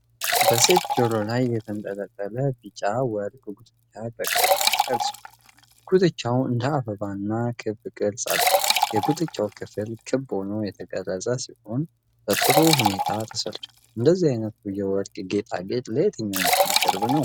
በሴት ጆሮ ላይ የተንጠለጠለ ቢጫ ወርቅ ጉትቻ በቅርብ ተቀርጿል። ጉትቻው እንደ አበባና ክብ ቅርጽ አለው። የጉትቻው ክፍል ክብ ሆኖ የተቀረጸ ሲሆን፣ በጥሩ ሁኔታ ተሠርቷል። እንደዚህ አይነቱ የወርቅ ጌጣጌጥ ለየትኛው ባህል ቅርብ ነው?